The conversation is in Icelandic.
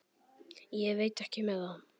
Ég veit ekki með það.